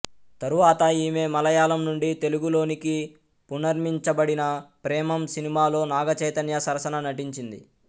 తరువాత ఈమె మలయాళం నుండి తెలుగులోనికి పునర్మించబడిన ప్రేమమ్ సినిమాలో నాగ చైతన్య సరసన నటించింది